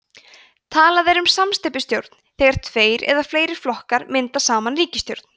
talað er um samsteypustjórn þegar tveir eða fleiri flokkar mynda saman ríkisstjórn